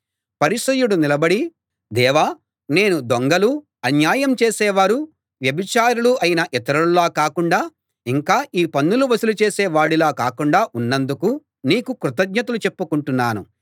పరిసయ్యుడు నిలబడి దేవా నేను దొంగలూ అన్యాయం చేసేవారూ వ్యభిచారులూ అయిన ఇతరుల్లా కాకుండా ఇంకా ఈ పన్నులు వసూలు చేసే వాడిలా కాకుండా ఉన్నందుకు నీకు కృతజ్ఞతలు చెప్పుకుంటున్నాను